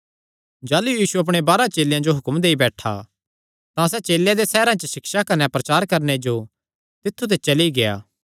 जाह़लू यीशु अपणे बाराह चेलेयां जो हुक्म देई बैठा तां सैह़ चेलेयां दे सैहरां च सिक्षा कने प्रचार करणे जो तित्थु ते चली गेआ